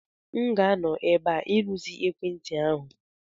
M ga-anọ ebe a irụzi ekwentị ahu.